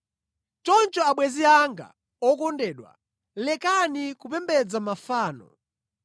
Choncho abwenzi anga okondedwa, lekani kupembedza mafano.